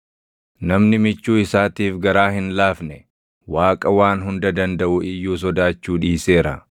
“Namni michuu isaatiif garaa hin laafne Waaqa Waan Hunda Dandaʼu iyyuu sodaachuu dhiiseera.